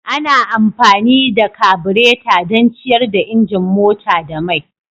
Ana amfani da kabureta don ciyar da injin mota da mai.